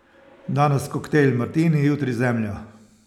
Danes koktajl Martini, jutri Zemlja!